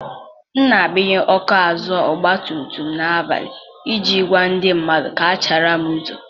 M na-agbanye ọkụ azụ ọgba tum tum n'abalị iji gwa ndị mmadụ ka ha chaara m n'ụzọ.